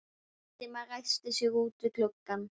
Valdimar ræskti sig úti við gluggann.